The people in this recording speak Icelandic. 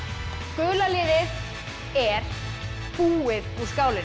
gula liðið er búið úr skálinni